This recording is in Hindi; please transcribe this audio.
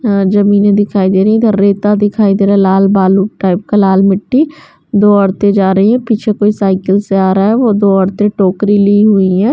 हां जमीने दिखाई दे रही है इधर रेता दिखाई दे रहा है लाल बालू टाइप का लाल मिट्टी दो औरतें जा रही है पीछे कोई साइकिल से आ रहा है वो दो औरते टोकरी ली हुई हैं।